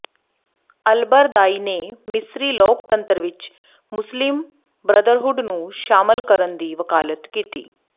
ElBaradei ਨੇ ਮਿਸਰੀ ਲੋਕਤੰਤਰ ਵਿਚ ਮੁਸਲਿਮ ਬ੍ਰਦਰਹੁੱਡ ਨੂੰ ਸ਼ਾਮਲ ਕਰਨ ਦੀ ਵਕਾਲਤ ਕੀਤੀ